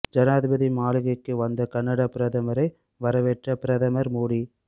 ஜனாதிபதி மாளிகைக்கு வந்த கனடா பிரதமரை வரவேற்ற பிரதமர் மோடி